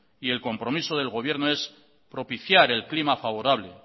y el compromiso del gobierno es propiciar el clima favorable